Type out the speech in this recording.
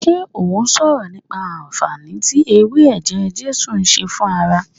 Ṣé ó sọ̀rọ̀ nípa anfaani tí ewé eje jesu ń ṣe fún ara